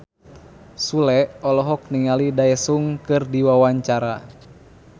Sule olohok ningali Daesung keur diwawancara